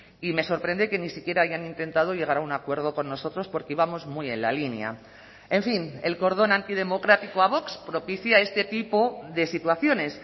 y me sorprende que ni siquiera hayan intentado llegar a un acuerdo con nosotros porque íbamos muy en la línea en fin el cordón antidemocrático a vox propicia este tipo de situaciones